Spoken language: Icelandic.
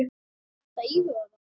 Ertu að íhuga það?